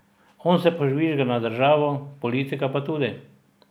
On se požvižga na državo, politika pa tudi!